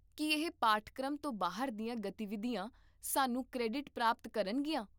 ਕੀ ਇਹ ਪਾਠਕ੍ਰਮ ਤੋਂ ਬਾਹਰ ਦੀਆਂ ਗਤੀਵਿਧੀਆਂ ਸਾਨੂੰ ਕ੍ਰੈਡਿਟ ਪ੍ਰਾਪਤ ਕਰਨਗੀਆਂ?